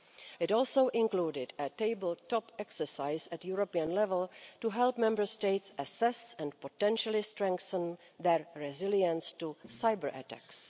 It also included a table-top exercise at European level to help Member States assess and potentially strengthen their resilience to cyber-attacks.